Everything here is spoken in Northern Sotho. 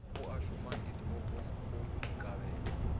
ao a šomang ditoropongkgolo dikabelo